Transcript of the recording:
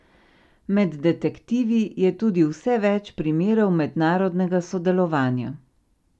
Med detektivi je tudi vse več primerov mednarodnega sodelovanja.